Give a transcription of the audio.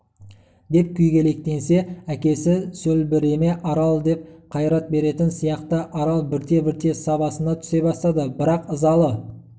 деп күйгелектенсе әкесі сөлбіреме арал деп қайрат беретін сияқты арал бірте-бірте сабасына түсе бастады бірақ ызалы